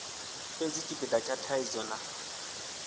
fhedzi tshipida tsha thaidzo na